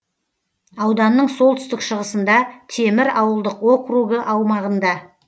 ауданның солтүстік шығысында темір ауылдық округі аумағында